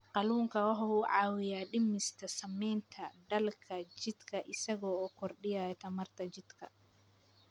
Kalluunku waxa uu caawiyaa dhimista saamaynta daalka jidhka isaga oo kordhiya tamarta jidhka.